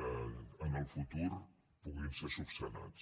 en el futur puguin ser resolts